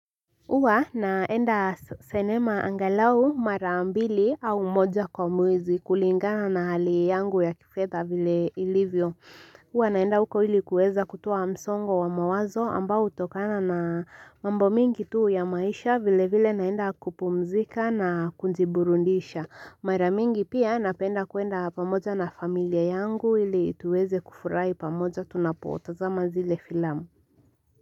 Huwa naenda sinema angalau mara mbili au moja kwa mwezi kulingana na hali yangu ya kifedha vile ilivyo. Huwa naenda huko ili kuweza kutoa msongo wa mawazo ambao hutokana na mambo mingi tu ya maisha vile vile naenda kupumzika na kujiburudisha. Mara mingi pia napenda kuenda pamoja na familia yangu ili tuweze kufurahi pamoja tunapotazama zile filamu.